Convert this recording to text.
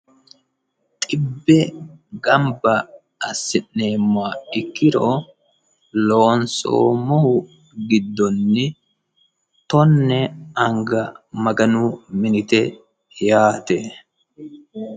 Xibbe gamba assineemmoha ikkiro loonsoommohu giddonni tone anga Maganu minite yaate.